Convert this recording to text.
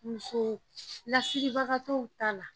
Muso lasiribagatɔw ta la